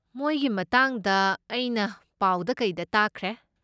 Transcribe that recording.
ꯃꯣꯏꯒꯤ ꯃꯇꯥꯡꯗ ꯑꯩꯅ ꯄꯥꯎꯗ ꯀꯩꯗ ꯇꯥꯈ꯭ꯔꯦ꯫